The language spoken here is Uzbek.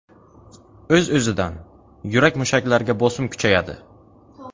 O‘z-o‘zidan, yurak mushaklariga bosim kuchayadi.